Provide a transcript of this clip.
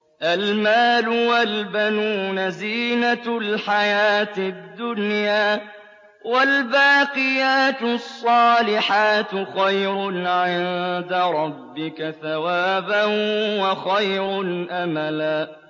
الْمَالُ وَالْبَنُونَ زِينَةُ الْحَيَاةِ الدُّنْيَا ۖ وَالْبَاقِيَاتُ الصَّالِحَاتُ خَيْرٌ عِندَ رَبِّكَ ثَوَابًا وَخَيْرٌ أَمَلًا